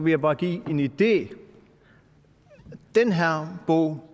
jeg bare give en idé den her bog